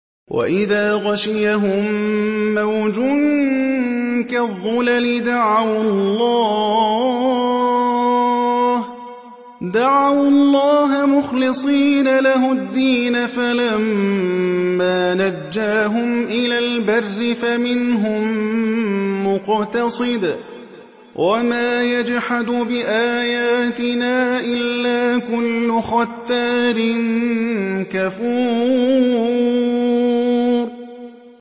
وَإِذَا غَشِيَهُم مَّوْجٌ كَالظُّلَلِ دَعَوُا اللَّهَ مُخْلِصِينَ لَهُ الدِّينَ فَلَمَّا نَجَّاهُمْ إِلَى الْبَرِّ فَمِنْهُم مُّقْتَصِدٌ ۚ وَمَا يَجْحَدُ بِآيَاتِنَا إِلَّا كُلُّ خَتَّارٍ كَفُورٍ